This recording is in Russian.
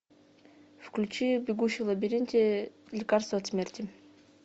включи бегущий в лабиринте лекарство от смерти